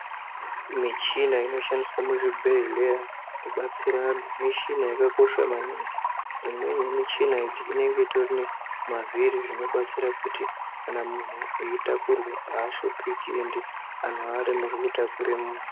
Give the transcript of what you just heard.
Michina inoshandiswa muchibhedhleya kubatsire vanhu michina yakakosha maningi imweni yemichina idzi inenge itori nemavhiri inobatsira kuti kana munhu eitakurwa aashupiki endi anhu aaremerwi kutakura munhu.